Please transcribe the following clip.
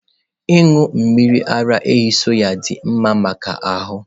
Ịṅụ mmiri ara ehi soy dị mma maka ahụ.